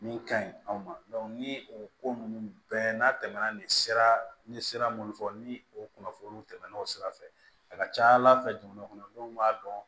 Min ka ɲi anw ma ni o ko ninnu bɛɛ n'a tɛmɛna nin sira n ye sira minnu fɔ ni o kunnafoniw tɛmɛnna o sira fɛ a ka ca ala fɛ jamana kɔnɔdenw b'a dɔn